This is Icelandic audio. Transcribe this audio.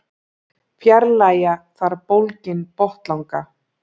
Fjarlægja þarf bólginn botnlanga.